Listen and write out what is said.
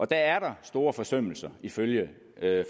der er der store forsømmelser ifølge